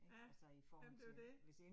Ja. Jamen det jo det